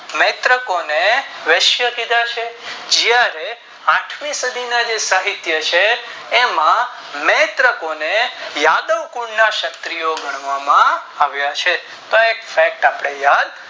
નેત્રોકો ને વૈશ્ય કીધા છે જે આઠમી સદી ના જે જે સાહિત્ય છે વામાં નેત્રકોને યાદવ કુલ ના ક્ષત્રિયો ગણવામાં આવ્યા છે